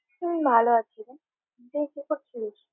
হুম ভালো আছি রে, তুই কি করছিস?